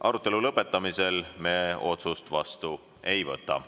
Arutelu lõpetamisel me otsust vastu ei võta.